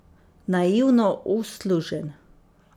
Naivno uslužen.